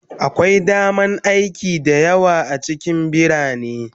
Akwai damar aiki da yawa a cikin birane